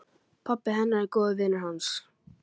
Pabbi hennar er góður vinur hans.